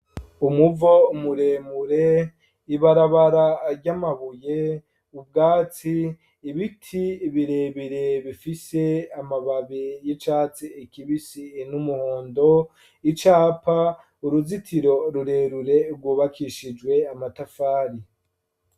Umuvo muremure ibarabara ary'amabuye ubwatsi ibiti birebire bifise amababe y'icatse ekibisi in'umuhondo icapa uruzitiro rurerure rwubakishijwe amatafari.